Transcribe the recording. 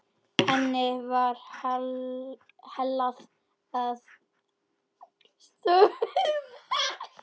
Henni var hallað að stöfum.